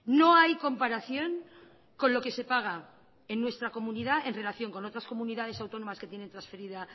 no hay comparación con lo que se paga en nuestra comunidad en relación con otras comunidades autónomas que tienen trasferida